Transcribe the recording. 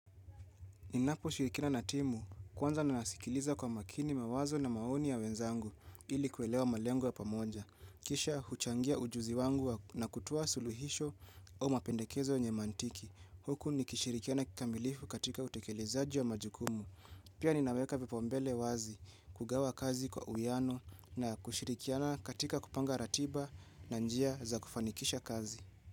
Ninapo shirikiana na timu, kwanza nanasikiliza kwa makini mawazo na maoni ya wenzangu ili kuelewa malengo ya pamoja. Kisha huchangia ujuzi wangu na kutoa suluhisho au mapendekezo yenye mantiki. Huku nikishirikiana kikamilifu katika utekelezaji wa majukumu. Pia ninaweka vipao mbele wazi kugawa kazi kwa uhuhiano na kushirikiana katika kupanga ratiba na njia za kufanikisha kazi.